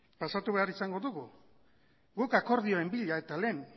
pasatu behar izango dugu guk akordioen bila eta lehen